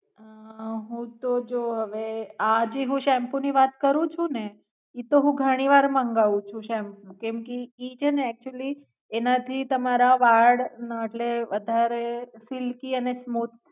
હુ તુ જો હવે આ જે હું સેમ્પુ ની વાત કરું છું ને ઈ તો હું ઘણી વાર મંગાવું છું સેમ્પુ કેમ કે ઈ છે નેઅક્ટયુઅલી એનાથી તમારા વાળ એટલે વધારે સિલ્કિ અને સ્મુથ